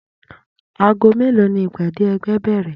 Ago melo ni ìpàdé ẹgbẹ́ bèrè?